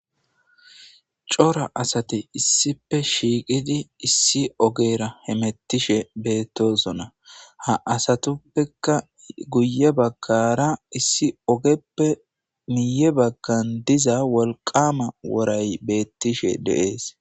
cora asate issipe shiiqidi issi ogera hemettishe beettoosona ha asatuppeka guye bagkara issi ogeppe miye baggan diza wolqama woray beettishe deees